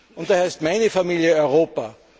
Und daher ist meine Familie Europa.